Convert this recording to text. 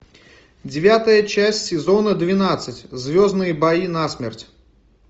девятая часть сезона двенадцать звездные бои насмерть